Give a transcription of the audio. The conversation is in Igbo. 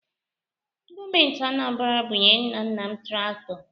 Gọọmenti Anambara bunyere nna nna m traktọ.